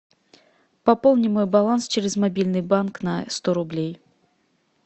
пополни мой баланс через мобильный банк на сто рублей